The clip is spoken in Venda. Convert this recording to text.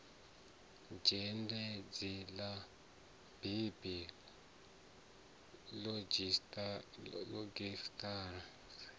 zhendedzi ḽa bibi iogirafi ḽa